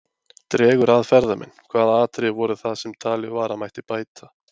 Dregur að ferðamenn Hvaða atriði voru það sem talið var að mætti bæta?